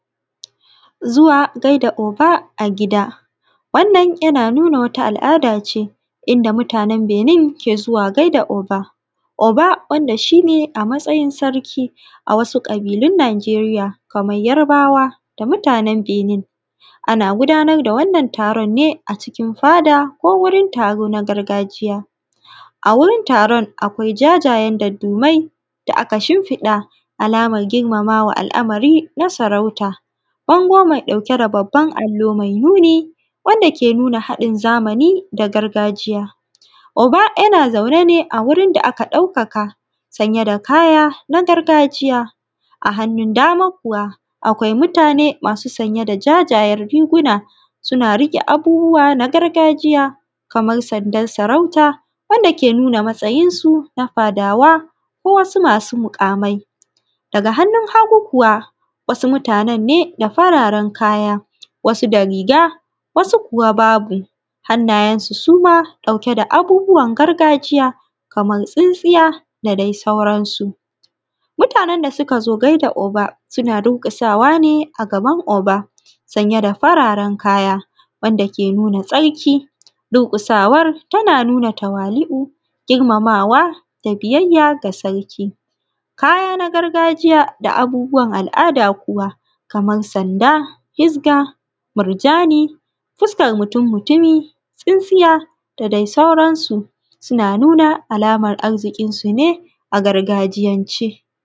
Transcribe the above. Zuwa gaida Oba a gida, wannan yana nuna wata al'ada ce, inda mutanen Benin ke zuwa gaida oba. Oba wanda shi ne a matsayin sarki a wasu ƙabilun Niʤeriya kamar Yarbawa da mutanen Benin. Ana gudanar da wannan taron ne a cikin fada ko wurin taro na gargajiya. A wurin taron akwai jajayen daddumai da aka shinfiɗa alamar girmamawa al'amari na sarauta. Bango mai ɗauke da babban allo mai nuni. wanda ke nuna haɗin zamani da gargajiya. Oba yana zaune ne a wurin da aka ɗaukaka sanye da kaya na gargajiya. A hannun dama kuwa akwai mutane masu sanye da jajayen riguna suna riƙe da abubuwa na gargajiya kamar sandar sarauta wanda ke nuna matsayinsu na fadawa ko wasu masu muƙamai. Daga hannun hagu kuwa wasu mutanen ne da fararen kaya. Wasu da ri:ga wasu kuwa babu. Hannayen su suma ɗauke da abubuwan gargajiya kamar tsintsiya da dai sauransu. Mutanen da suka zo gada Oba suna durƙusawa ne a gaban Oba sanye da fararen kaya wanda ke nuna tsarki. Durƙusawar tana nuna tawali'u. Girmamawa da biyayya ga sarki. Kaya na gargajiya da abubuwan al'ada kuwa kamar sanda, hizga, murjani, fuskan mutum mutumi, tsintsiya da dai sauransu suna nuna alamar arzikinsu ne a gargajiyan ce.